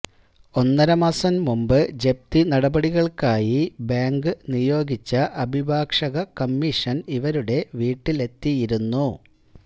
ഒന്നരമാസം മുൻപ് ജപ്തി നടപടികൾക്കായി ബാങ്ക് നിയോഗിച്ച അഭിഭാഷക കമ്മീഷൻ ഇവരുടെ വീട്ടിലെത്തിയിരുന്നു